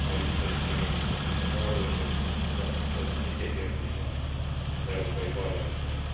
A mai vita is megerősített minket arról, hogy ezzel kapcsolatban egyetértés van az Európai Parlamentben.